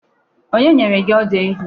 Onye nyere gị ọdụ ehi?